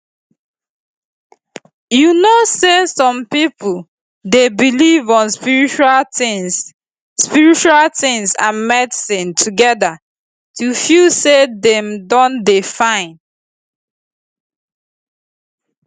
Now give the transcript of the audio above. you know say some pipo dey belief on spiritual tins spiritual tins and medicine together to feel say dem don dey fine